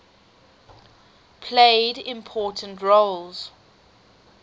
played important roles